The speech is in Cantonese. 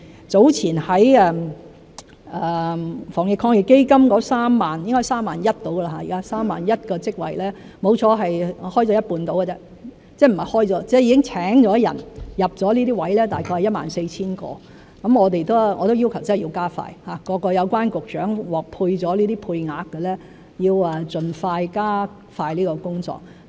早前在防疫抗疫基金的 31,000 個職位中，已聘請並入職的只有一半左右，大約有 14,000 個，我已要求加快，各有關局長獲配了這些配額的要盡快加快這個工作。